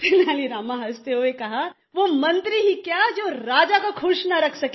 तेनाली रामा हॅसते हुए कहाँ वो मंत्री ही क्या जो राजा को खुश न रख सके